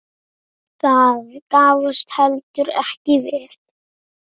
Það gafst heldur ekki vel.